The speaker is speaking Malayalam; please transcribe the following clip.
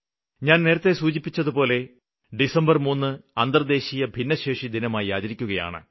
ഞാന് നേരത്തെ സൂചിപ്പിച്ചതുപോലെ ഡിസംബര് 3 അന്തര്ദേശീയ ഭിന്നശേഷി ദിനമായി ആചരിക്കുകയാണ്